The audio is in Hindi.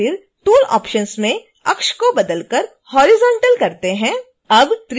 एक बार फिर tool options में अक्ष को बदल कर horizontal कर देते हैं